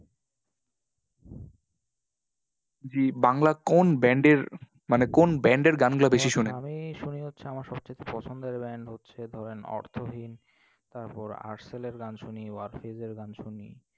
জি, বাংলা কোন band এর মানে কোন band এর গানগুলা বেশি শোনেন? আমি শুনি হচ্ছে, আমার সবচাইতে পছন্দের band হচ্ছে ধরেন অর্থহীন, তারপর এর গান শুনি, এর গান শুনি।